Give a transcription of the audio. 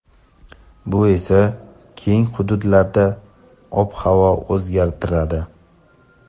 bu esa keng hududlarda ob-havoni o‘zgartiradi.